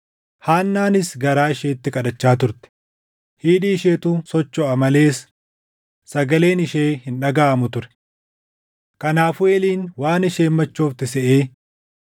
Haannaanis garaa isheetti kadhachaa turte; hidhii isheetu sochoʼa malees sagaleen ishee hin dhagaʼamu ture. Kanaafuu Eeliin waan isheen machoofte seʼee,